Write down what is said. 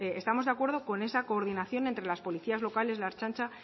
pues estamos de acuerdo con esa coordinación entre las policías locales la ertzaintza